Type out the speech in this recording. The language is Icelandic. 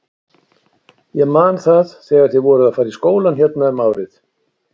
Ég man það þegar þið voruð að fara í skólann hérna um árið!